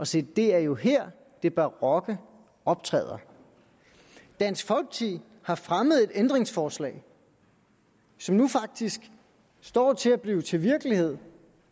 se det er jo her det barokke optræder dansk folkeparti har fremmet et ændringsforslag som nu faktisk står til at blive til virkelighed